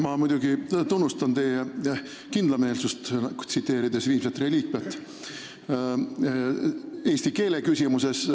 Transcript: Ma muidugi tunnustan teie kindlameelsust, tsiteerides "Viimset reliikviat", eesti keele küsimuses.